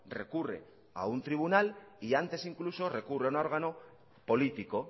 recurre a un tribunal y antes incluso recurre a un órgano político